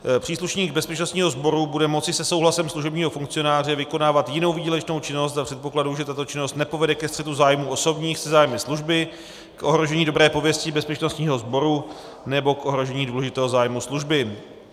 Příslušník bezpečnostního sboru bude moci se souhlasem služebního funkcionáře vykonávat jinou výdělečnou činnost za předpokladu, že tato činnost nepovede ke střetu zájmů osobních se zájmy služby, k ohrožení dobré pověsti bezpečnostního sboru nebo k ohrožení důležitého zájmu služby.